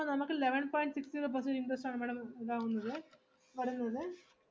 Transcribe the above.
അപ്പോ eleven point six zero percentage interest ആണ് madam ഉണ്ടാവുന്നത്, വരുന്നത്.